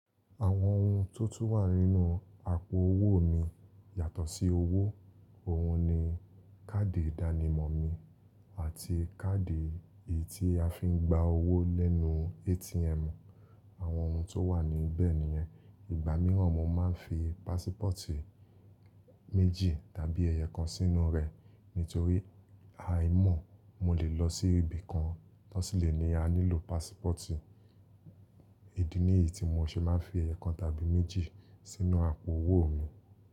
Àwọn ohun tó tún wà nínú àpò owó mi yàtọ̀ sí owó, òhun ni káàdì ìdánimọ̀ mi àti káàdì èyí tí a fi ń gba owó lẹ́nu ATM. Àwọn ohun tó wà níbẹ̀ nìyẹn. Ìgbà mìíràn mo máa ń fi pásípọ̀tì méjì tàbí ẹyẹkan sínú rẹ̀ nítorí aài mọ̀ mo lè lọ sí ibi kan tó sì le ní a nílò pásípọ̀tì. Èdè nìyí tí mo ṣe máa ń fi ẹyẹkan tàbí méjì sínú àpò owó mi.